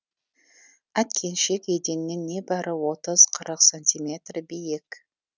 әткеншек еденнен небәрі отыз қырық сантиметр биік